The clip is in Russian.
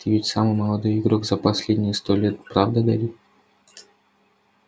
ты ведь самый молодой игрок за последние сто лет правда гарри